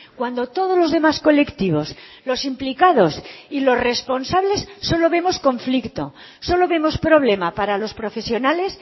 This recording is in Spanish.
cuando todos los demás colectivos los implicados y los responsables solo vemos conflicto solo vemos problema para los profesionales